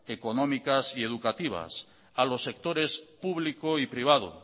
económicas y educativas a los sectores público y privado